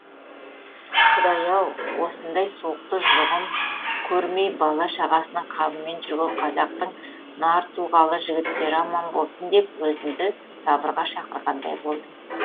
құдай ау осындай суықты жұғым көрмей бала шағасының қамымен жүрген қазақтың нар тұлғалы жігіттері аман болсын деп өзімді сабырға шақырғандай болдым